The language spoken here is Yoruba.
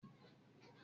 Ṣé adìẹ kúnlé ni yìí?